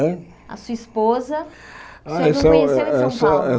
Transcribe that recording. É A sua esposa o senhor Essa essa essa Não conheceu em São Paulo?